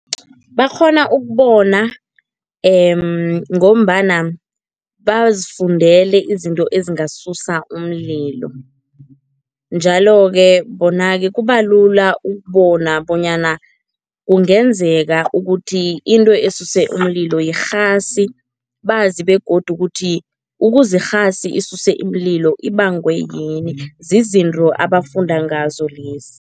Bakghona ukubona ngombana bazifundele izinto ezingasusa umlilo njalo-ke bona-ke kubalula ukubona bonyana kungenzeka ukuthi into esuse umlilo yirhasi, bazi begodu ukuthi ukuze irhasi isuse imililo ibangwe yini, zizinto abafunda ngazo lezi.